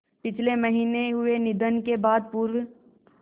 पिछले महीने हुए निधन के बाद पूर्व